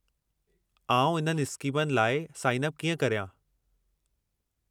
आउं इन्हनि स्कीमनि लाइ साइन अप कीअं करियां?